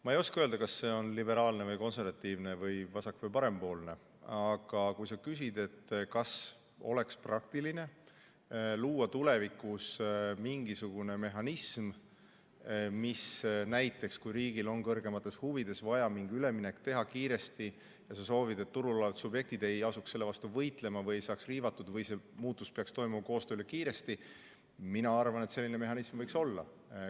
Ma ei oska öelda, kas see on liberaalne või konservatiivne, vasak- või parempoolne, aga kui sa küsid, kas oleks praktiline luua tulevikus mingisugune mehhanism, mis näiteks, kui riigil on kõrgemates huvides vaja kiiresti mingi üleminek teha, ja sa soovid, et turul olevad subjektid ei asuks selle vastu võitlema või ei saaks riivatud, vaid see muutus peaks toimuma koostöös ja kiiresti, siis mina arvan, et selline mehhanism võiks olla.